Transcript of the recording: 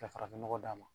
Ka farafin nɔgɔ d'a ma